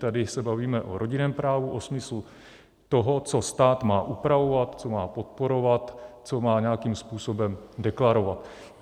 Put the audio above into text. Tady se bavíme o rodinném právu, o smyslu toho, co stát má upravovat, co má podporovat, co má nějakým způsobem deklarovat.